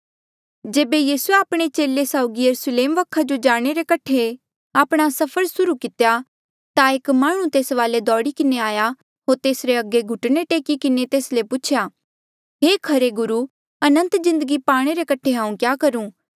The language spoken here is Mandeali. जेबे यीसूए आपणे चेले साउगी यरुस्लेम वखा जो जाणे रे कठे आपणा सफर सुर्हू कितेया ता एक माह्णुं तेस वाले दौड़ी किन्हें आया होर तेसरे अगे घुटणे टेकी किन्हें तेस ले पूछेया हे खरे गुरु अनंत जिन्दगी पाणे रे कठे हांऊँ क्या करूं